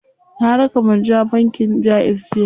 Na raka Murja bankin Jaiz jiya.